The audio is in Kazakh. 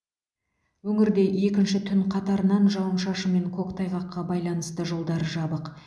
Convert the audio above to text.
өңірде екінші түн қатарынан жауын шашын мен көктайғаққа байланысты жолдар жабық